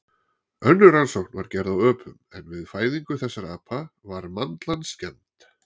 Önnur rannsókn var gerð á öpum en við fæðingu þessara apa var mandlan skemmd.